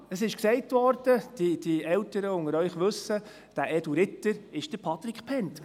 Ja, es wurde gesagt – die Älteren unter Ihnen wissen es –, dieser edle Ritter sei Patric Bhend gewesen.